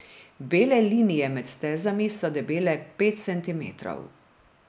Bele linije med stezami so debele pet centimetrov.